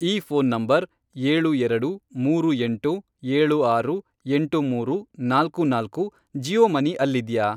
ಈ phone number, ಏಳು ಎರಡು, ಮೂರು ಎಂಟು, ಏಳು ಆರು, ಎಂಟು ಮೂರು, ನಾಲ್ಕು ನಾಲ್ಕು, ಜಿಯೋ ಮನಿ ಅಲ್ಲಿದ್ಯಾ?